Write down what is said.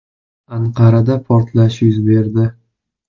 Anqarada portlash yuz berdi.